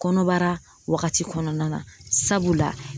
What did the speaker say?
Kɔnɔbara wagati kɔnɔna na sabula